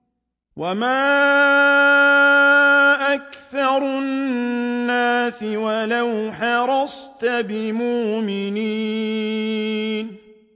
وَمَا أَكْثَرُ النَّاسِ وَلَوْ حَرَصْتَ بِمُؤْمِنِينَ